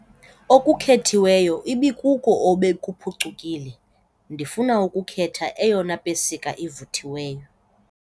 Okukhethiweyo ibikuko obekuphucukile. ndifuna ukukhetha eyona pesika ivuthiweyo